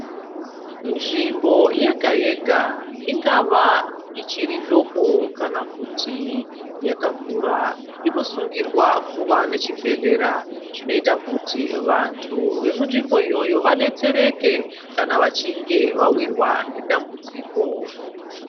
Nzvimbo yega-yega ,ingava ichiri doko kana kuti yakakura, inosungirwa kuva nechibhedhlera. Zvinoita kuti vantu vemunzvimbo iyoyo vadetsereke ,kana vachinge vawirwa nedambudziko.